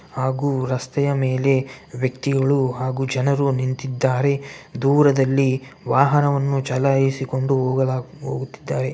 ಹಾಗು ರಸ್ತೆಯ ಮೇಲೆ ವ್ಯಕ್ತಿಗಳು ಹಾಗು ಜನರು ನಿಂತಿದ್ದಾರೆ ದೂರದಲ್ಲಿ ವಾಹನವನ್ನು ಚಲಾಯಿಸಿಕೊಂಡು ಹೋಗಲಾ ಹೋಗುತ್ತಿದ್ದಾರೆ.